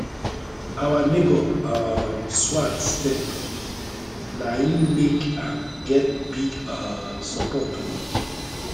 our neighbour um swag step na im make am get big um support o